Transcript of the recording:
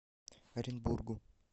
оренбургу